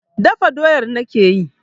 Dafa doyar nake yi.